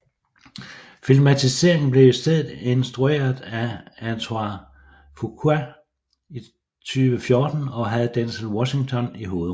Filmatiseringen blev i stedet instrueret af Antoine Fuqua i 2014 og havde Denzel Washington i hovedrollen